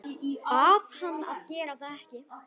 Bað hann að gera það ekki.